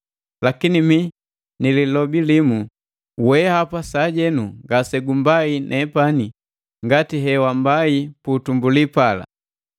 Lakini mi nilobi limu kwaku weapa: Weapa sajenu ngase gumbai nepani ngati he wambai pu utumbuli pala.